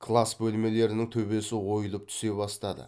класс бөлмелерінің төбесі ойылып түсе бастады